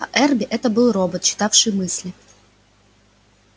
а эрби это был робот читавший мысли